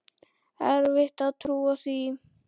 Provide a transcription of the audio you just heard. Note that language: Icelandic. Erfitt að trúa því.